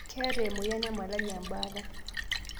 Keeta emoyian e malaria ebaata